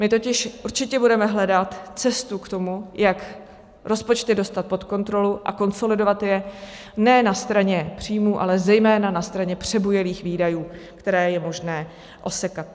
My totiž určitě budeme hledat cestu k tomu, jak rozpočty dostat pod kontrolu a konsolidovat je ne na straně příjmů, ale zejména na straně přebujelých výdajů, které je možné osekat.